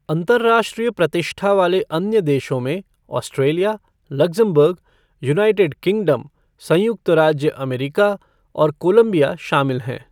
अंतरराष्ट्रीय प्रतिष्ठा वाले अन्य देशों में ऑस्ट्रेलिया, लक्ज़मबर्ग, यूनाइटेड किंगडम, संयुक्त राज्य अमेरिका और कोलंबिया शामिल हैं।